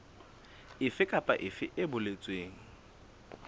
efe kapa efe e boletsweng